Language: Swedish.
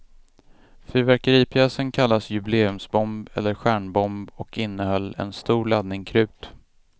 Fyrverkeripjäsen kallas jubileumsbomb eller stjärnbomb och innehöll en stor laddning krut.